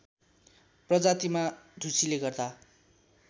प्रजातिमा ढुसीले गर्दा